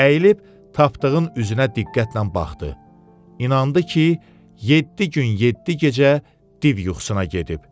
Əyilib tapdığın üzünə diqqətlə baxdı, inandı ki, yeddi gün yeddi gecə div yuxusuna gedib.